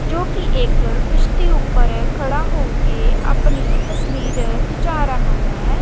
ਜੋ ਕੀ ਇਕ ਕਿਸ਼ਤੀ ਉੱਪਰ ਖੜਾ ਹੋ ਕੇ ਆਪਣੀ ਤਸਵੀਰ ਖਿਚਾ ਰਹਾ ਹੈ।